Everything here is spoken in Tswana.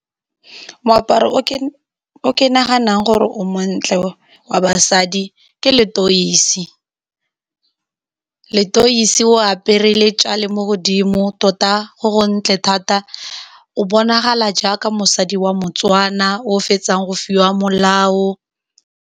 Moaparo o ke naganang gore o montle wa basadi ke leteisi. Leteisi o apere le tjale mo godimo, tota go go ntle thata, o bonagala jaaka mosadi wa Motswana o o fetsang go fiwa molao.